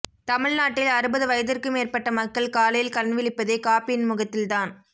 தமிழ்நாட்டில் அறுபது வயதிற்கு மேற்பட்ட மக்கள் காலையில் கண்விழிப்பதே காபியின் முகத்தில்தான்